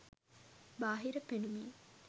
බාහිර පෙනුමින්